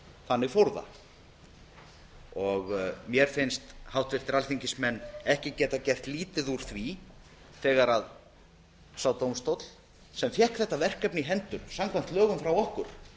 þannig fór það mér finnst háttvirtir alþingismenn ekki geta gert lítið úr því þegar sá dómstóll sem fékk þetta verkefni í hendur samkvæmt lögum frá okkur